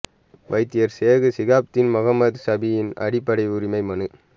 வைத்தியர் சேகு ஷிஹாப்தீன் மொஹம்மட் ஷாபியின் அடிப்படை உரிமை மனு